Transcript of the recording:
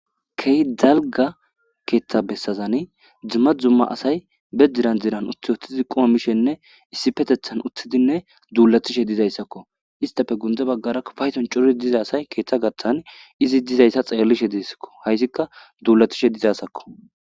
Key dalga keeththa bessazani dzumma zumma asay be diran diran ut uttidi quma mishenne issi petethan uthidinne duulatishe dizayssakko istafe gunde baggara fayton cori diza asay keeththa gaththan izi dizayssa xeellishe deessakko hayssikka duulatishe dizasakko.